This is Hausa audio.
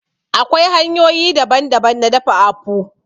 Akwai hanyoyi daban daban na dafa àkpu